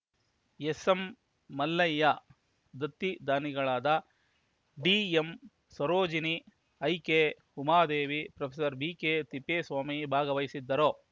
ಎಸ್‌ಎಂಮಲ್ಲಯ್ಯ ದತ್ತಿ ದಾನಿಗಳಾದ ಡಿಎಂಸರೋಜಿನಿ ಐಕೆಉಮಾದೇವಿ ಪ್ರೊಫೆಸರ್ ಬಿಕೆತಿಪ್ಪೇಸ್ವಾಮಿ ಭಾಗವಹಿಸುವರು